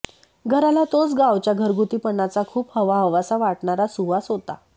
घराला तोच गावच्या घरगुतीपणाचा खुप हवाहवासा वाटणारा सुवास होता